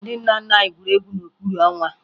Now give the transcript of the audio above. Ndị nna nna anyị gwuru egwu n'okpuru ọnwa